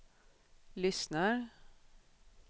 lyssnar